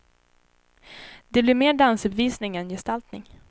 Det blir mer dansuppvisning än gestaltning.